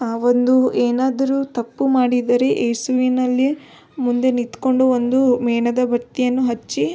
ಆಹ್ಹ್ ಒಂದು ಏನಾದ್ರು ತಪ್ಪು ಮಾಡಿದರೆ ಯೇಸುವಿನಲ್ಲಿ ಮುಂದೆ ನಿತ್ಕೊಂಡು ಒಂದು ಮೇಣದ ಬತ್ತಿಯನ್ನು ಹಚ್ಚಿ --